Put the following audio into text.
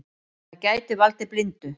Það gæti valdið blindu.